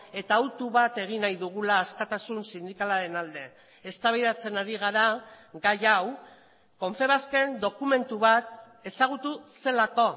eta auto bat egin nahi dugula askatasun sindikalaren alde eztabaidatzen ari gara gai hau confebasken dokumentu bat ezagutu zelako